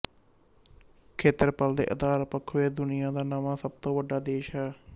ਖੇਤਰਫਲ ਦੇ ਆਧਾਰ ਪੱਖੋਂ ਇਹ ਦੁਨੀਆ ਦਾ ਨਵਾਂ ਸਭ ਤੋਂ ਵੱਡਾ ਦੇਸ਼ ਹੈ